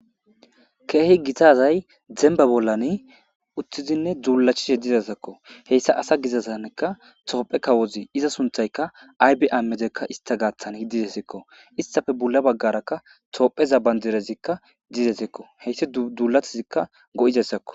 Keehi gitazay zemba bollani uttizinne dzuulachishe didesakko heyssa asa gizazannekka toophe kawozi iza sunthaykka aybe ammedekka ista gaaththan hiddidesekko istafe bula baggarakka toopheza bandirezikka didesekko heyssi duulathizikka go'idessakko.